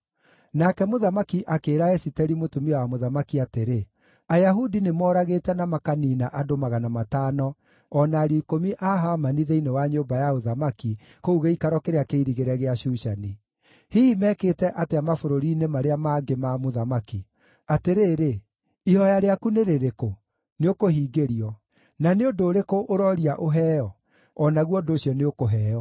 Nake mũthamaki akĩĩra Esiteri mũtumia wa mũthamaki atĩrĩ, “Ayahudi nĩmoragĩte na makaniina andũ magana matano o na ariũ ikũmi a Hamani thĩinĩ wa nyũmba ya ũthamaki kũu gĩikaro kĩrĩa kĩirigĩre gĩa Shushani. Hihi mekĩte atĩa mabũrũri-inĩ marĩa mangĩ ma mũthamaki? Atĩrĩrĩ, ihooya rĩaku nĩ rĩrĩkũ? Nĩũkũhingĩrio. Na nĩ ũndũ ũrĩkũ ũrooria ũheo? O naguo ũndũ ũcio nĩũkũheo.”